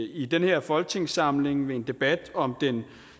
i den her folketingssamling ved en debat om den